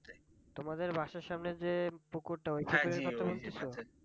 তোমাদের বাসার সামনে যে পুকুরটা ওই টারই কথা বলতেছ?